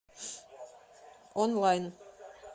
онлайн